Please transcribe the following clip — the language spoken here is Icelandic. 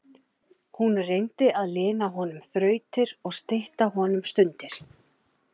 Hún reyndi að lina honum þrautir og stytta honum stundir.